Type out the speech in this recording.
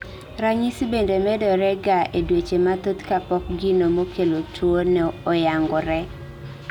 Ranyisi bende medore ga e dweche mathoth kapok gino mokelo tuo no yangore